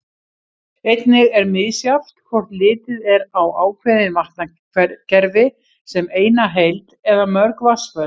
Einnig er misjafnt hvort litið er á ákveðin vatnakerfi sem eina heild eða mörg vatnsföll.